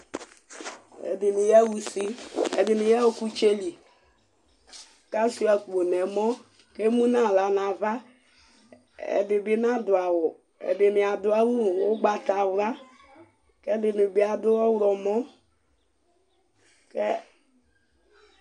Ɛdɩnɩ ya ʊsɩ, ɛdɩnɩ ya ɔkʊtsɛlɩ kʊ asɩa akpo nʊ ɛmɔ kʊ emʊ nʊ aɣla nʊ ava Ɛdɩ bɩ nadʊ awʊ, ɛdɩnɩ adʊ awʊ ʊgbatawla kʊ ɛdɩnɩ bɩa dʊ ɔwlɔmɔ